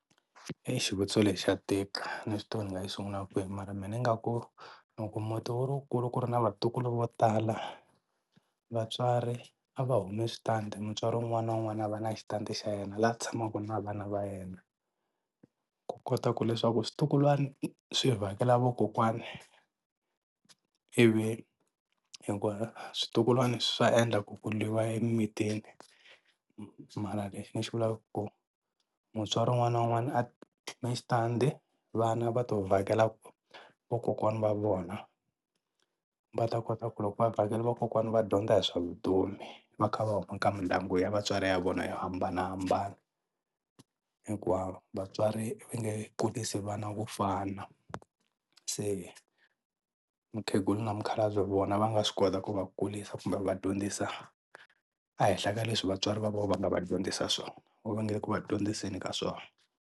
xivutiso lexi xa tika a ni swi tivi ku ni nga xi sungula kwini mara mehe ni nga ku loko muti wu ri wukulu ku ri na vatukulu vo tala vatswari a va humi switandi mutswari wun'wana na wun'wana a va na xitandi xa yena laha ku tshamaka na vana va yena ku kota ku leswaku swintukulwana swi vhakela vakokwani i vi hikuva swintukulwana swa endla ku ku lwiwa emimitini mara lexi ni xi vulaka i ku mutswari wun'wana na wun'wana a ve na xitandi vana va to vhakela vakokwana va vona va ta kota ku loko va vhakele vakokwana va dyondza hi swa vutomi va kha va huma ka mindyangu ya vatswari ya vona yo hambanahambana hikwawo vatswari va nge kurisi vana vo fana se mukhegula na mukhalabye vona va nga swi kota ku va kurisa kumbe va dyondzisa a hehla ka leswi vatswari va vona va nga va dyondzisa swona or va nga le ku va dyondziseni ka swona.